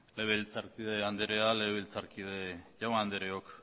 legebiltzarkide andrea legebiltzarkide jaun andreok